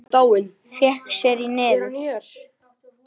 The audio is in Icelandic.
Fékk sér í nefið.